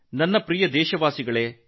ನನ್ನ ಪ್ರೀತಿಯ ದೇಶವಾಸಿಗಳೇ